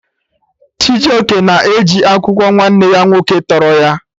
Chijoke na eji akwụkwọ nwanne ya nwoke tọrọ ya